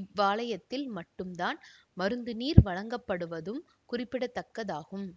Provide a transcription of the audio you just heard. இவ்வாலயத்தில் மட்டும் தான் மருத்துநீர் வழங்கப்படுவதும் குறிப்பிடதக்கதாகும்